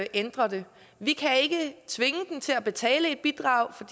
ændre det vi kan ikke tvinge dem til at betale et bidrag for